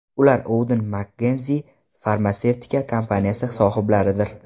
Ular Auden Mckenzie farmatsevtika kompaniyasi sohiblaridir.